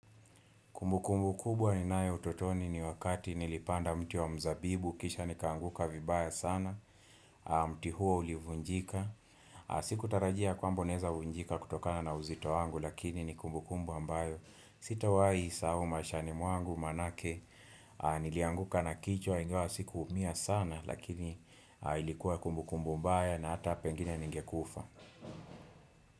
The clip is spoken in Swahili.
Kumbukumbu kubwa ninayo utotoni ni wakati nilipanda mti wa mzabibu, kisha nikaanguka vibaya sana, mti huo ulivunjika. Sikutarajia kwamba unaeza vunjika kutokana na uzito wangu lakini ni kumbukumbu ambayo. Sitawai sahau maishani mwangu maanake nilianguka na kichwa ingawa sikuumia sana lakini ilikuwa kumbukumbu mbaya na ata pengine ningekufa.